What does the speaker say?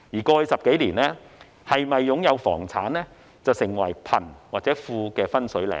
過去10多年，是否擁有房產成為貧或富的分水嶺。